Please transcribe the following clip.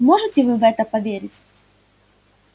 можете вы в это поверить